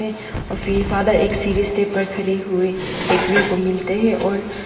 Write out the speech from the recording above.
और फिर फादर एक सीढ़ी स्टेप पर खड़े हुए देखने को मिलते हैं और--